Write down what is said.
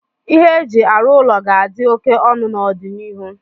ihe eji arụ ụlọ ga-adị óké ọnụ n'ọdịnihu